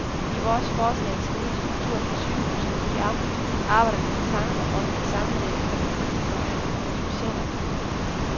I vores forslag til ny struktur for sygehusene i amtet arbejder vi med tanker om at sammenlægge akutfunktioner og specialafdelinger.